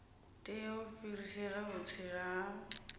tea u fhirisela vhutsila ha